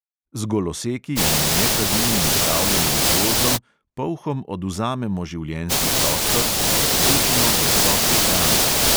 Z goloseki in nepravilnim upravljanjem z gozdom polhom odvzamemo življenjski prostor in preprečimo dostop do hrane.